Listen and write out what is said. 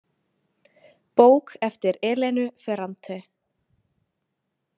Bók eftir Elenu Ferrante.